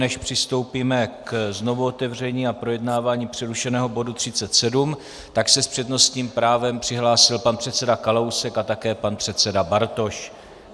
Než přistoupíme ke znovuotevření a projednávání přerušeného bodu 37, tak se s přednostním právem přihlásil pan předseda Kalousek a také pan předseda Bartoš.